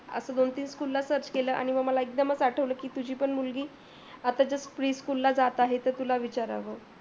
असा दोन तीन school ला search केल, एकदमच आठवल तुझी पण मुलगी आताच्या pre school ला जात आहे तर तुला विचाराव